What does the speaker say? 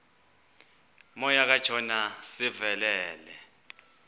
moya kajona sivelele